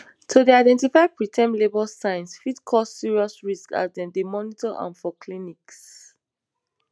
to dey identify preterm labour signs fit cause serious risks as dem dey monitor am for clinics